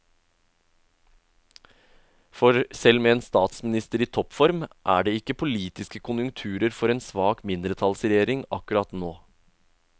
For selv med en statsminister i toppform er det ikke politiske konjunkturer for en svak mindretallsregjering akkurat nå.